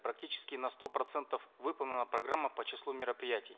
практически на сто процентов выполнена программа по числу мероприятий